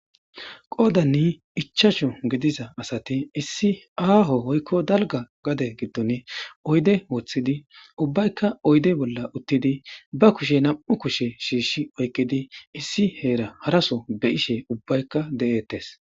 Qoodanni ichasho gidiza asati issi aaho hoykko dalga gade giddon oyde wooththidi ubbaykka oyde bolla uttidi ba kushe nam,u kushe shiishi oykkidi issi heera haraso be ishe ubbaykka de,ettes.